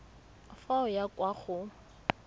fa o ya kwa go